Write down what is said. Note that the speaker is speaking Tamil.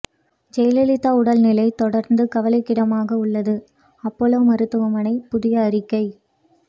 ஜெயலலிதா உடல் நிலை தொடர்ந்து கவலைக்கிடமாக உள்ளது அப்பல்லோ மருத்துவமனை புதிய அறிக்கை